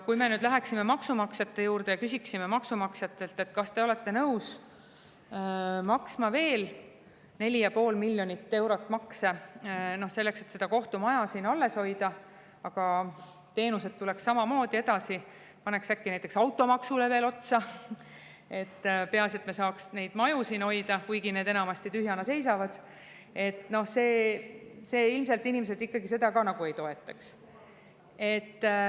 Kui me nüüd läheksime maksumaksjate juurde ja küsiksime, kas te olete nõus maksma veel 4,5 miljonit eurot makse selleks, et seda kohtumaja alles hoida, aga teenuseid samamoodi edasi, paneks äkki näiteks automaksule veel otsa, peaasi et me saaks neid maju hoida, kuigi need seisavad enamasti tühjana, siis ilmselt inimesed seda ka ei toetaks.